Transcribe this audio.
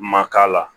Ma k'a la